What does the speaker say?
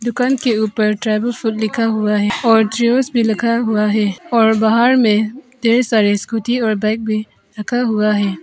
दुकान के ऊपर ट्राइबल फुड लिखा हुआ है और ट्रीओस भी लिखा हुआ है और बाहर में ढेर सारे स्कूटी और बाइक भी रखा हुआ है।